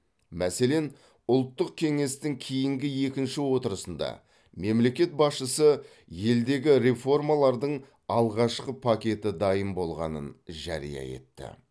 мәселен ұлттық кеңестің кейінгі екінші отырысында мемлекет басшысы елдегі реформалардың алғашқы пакеті дайын болғанын жария етті